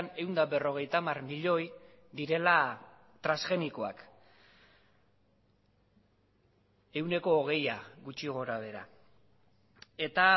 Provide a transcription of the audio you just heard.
ehun eta berrogeita hamar milioi direla transgenikoak ehuneko hogeia gutxi gora behera eta